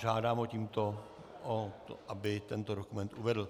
Žádám ho tímto, aby tento dokument uvedl.